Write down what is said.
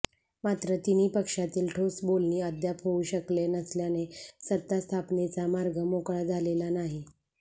मात्र तिन्ही पक्षातील ठोस बोलणी अद्याप होऊ शकले नसल्याने सत्ता स्थापनेचा मार्ग मोकळा झालेला नाही